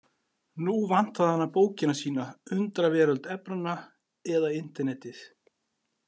Nú vantaði hana bókina sína Undraveröld efnanna eða Internetið.